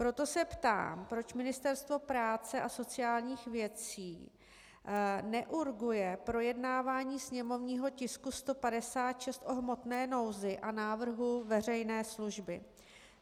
Proto se ptám, proč Ministerstvo práce a sociálních věcí neurguje projednávání sněmovního tisku 156 o hmotné nouzi a návrhu veřejné služby.